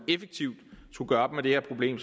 effektivt op med det her problem